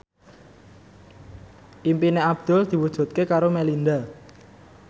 impine Abdul diwujudke karo Melinda